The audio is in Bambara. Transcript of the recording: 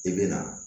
I bɛ na